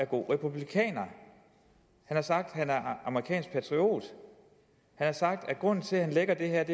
god republikaner han har sagt at amerikansk patriot han har sagt at grunden til at han lækker det her er